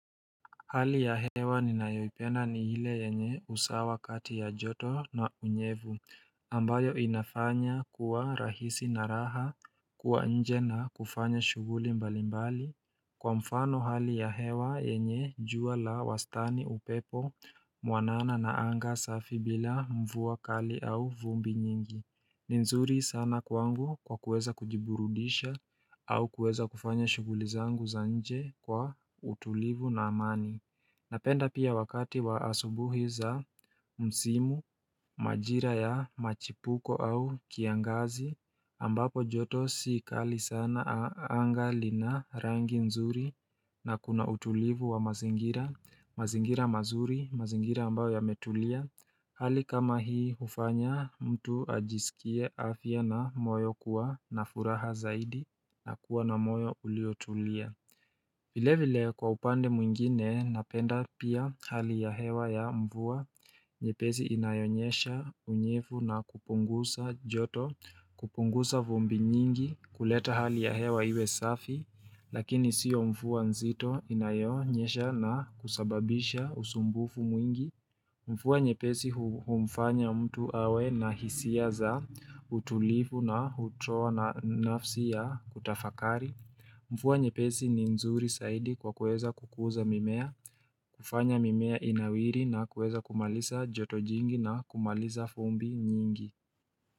Hali ya hewa ni nayoipenda ni ile yenye usawa kati ya joto na unyevu ambayo inafanya kuwa rahisi na raha kuwa nje na kufanya shuguli mbalimbali Kwa mfano hali ya hewa yenye jua la wastani upepo muanana na anga safi bila mvua kali au vumbi nyingi ni nzuri sana kwangu kwa kuweza kujiburudisha au kueza kufanya shuguli zangu za nje kwa utulivu na amani Napenda pia wakati wa asubuhi za msimu, majira ya machipuko au kiangazi ambapo joto sii kali sana anga lina rangi nzuri na kuna utulivu wa mazingira mazingira mazuri, mazingira ambao yametulia Hali kama hii hufanya mtu ajisikie afya na moyo kuwa na furaha zaidi na kuwa na moyo uliotulia vile vile kwa upande mwingine napenda pia hali ya hewa ya mvua Nyepezi inayonyesha unyevu na kupungusa joto kupungusa vumbi nyingi kuleta hali ya hewa iwe safi Lakini sio mvua nzito inayonyesha na kusababisha usumbufu mwingi mvua nyepesi humfanya mtu awe na hisia za utulifu na utoa na nafsi ya kutafakari mvua nyepesi ni nzuri saidi kwa kueza kukuza mimea kufanya mimea inawiri na kueza kumalisa joto jingi na kumalisa fumbi nyingi.